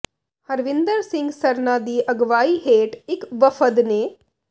ਹਰਵਿੰਦਰ ਸਿੰਘ ਸਰਨਾ ਦੀ ਅਗਵਾਈ ਹੇਠ ਇੱਕ ਵਫਦ ਨੇ